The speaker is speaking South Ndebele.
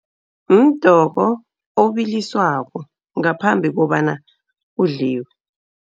Mdoko obilisiwako ngaphambi kobana udliwe.